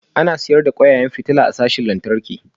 Ana sayar da kwararan fitila a sashin lantarki